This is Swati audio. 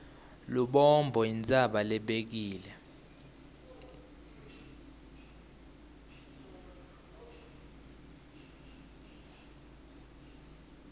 lubombo intsaba lebekile